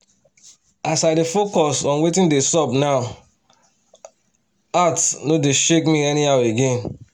as i dey focus on watin dey sup now heart nor dey shake me anyhow again.